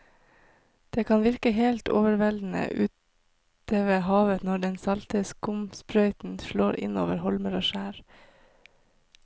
Det kan virke helt overveldende ute ved havet når den salte skumsprøyten slår innover holmer og skjær.